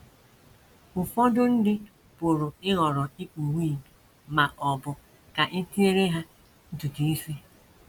Ụfọdụ ndị pụrụ ịhọrọ ikpu wig ma ọ bụ ka e tinyere ha ntutu isi.